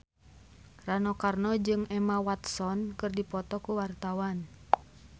Rano Karno jeung Emma Watson keur dipoto ku wartawan